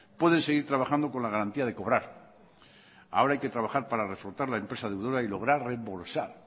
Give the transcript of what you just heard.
pueden seguir trabajando con la garantía de cobrar ahora hay que trabajar para reflotar la empresa deudora y lograr reembolsar